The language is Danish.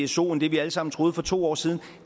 pso end det vi alle sammen troede for to år siden